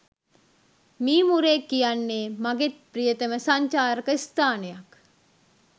මීමුරේ කියන්නේ මගේත් ප්‍රියතම සංචාරක ස්ථානයක්.